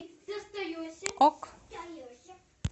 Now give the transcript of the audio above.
ок